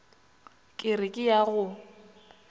ke re ke ya go